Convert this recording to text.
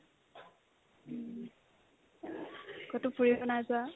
ক'ততো একো নাযা